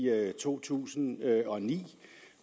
to tusind og ni